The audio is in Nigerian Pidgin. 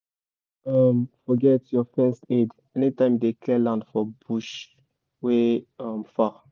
forget your first aid anytime you dey clear land for bush wey far